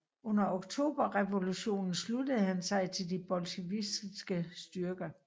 Under Oktoberrevolutionen sluttede han sig til de bolsjevikiske styrker